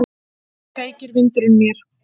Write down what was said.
Feykir vindurinn mér.